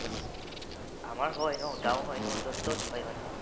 আমাৰ হয় ন গাওঁ হয় ন য'ত ত'ত হয় মানে